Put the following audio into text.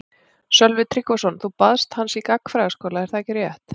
Sölvi Tryggvason: Þú baðst hans í gagnfræðaskóla er það ekki rétt?